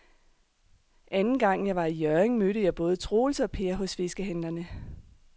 Anden gang jeg var i Hjørring, mødte jeg både Troels og Per hos fiskehandlerne.